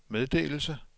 meddelelse